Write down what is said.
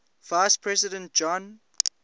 vice president john